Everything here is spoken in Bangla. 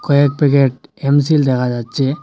কয়েক প্যাকেট এমসিল দেখা যাচ্ছে।